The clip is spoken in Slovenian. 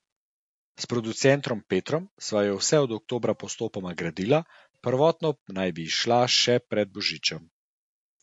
S producentom Petrom sva jo vse od oktobra postopoma gradila, prvotno pa naj bi izšla še pred božičem.